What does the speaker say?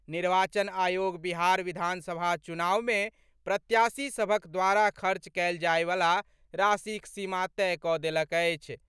निर्वाचन आयोग बिहार विधानसभा चुनाव में प्रत्याशी सभक द्वारा खर्च कएल जाएवला राशिक सीमा तय कऽ देलक अछि।